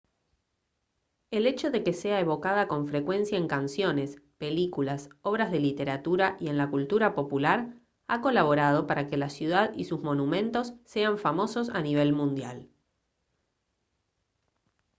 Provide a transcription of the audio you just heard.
el hecho de que sea evocada con frecuencia en canciones películas obras de literatura y en la cultura popular ha colaborado para que la ciudad y sus monumentos sean famosos a nivel mundial